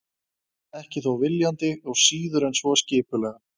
Ekki þó viljandi og síður en svo skipulega.